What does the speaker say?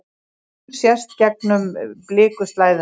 Sól sést gegnum blikuslæðuna.